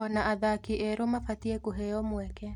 Ona athaki erũ mabatie kũheo mweke.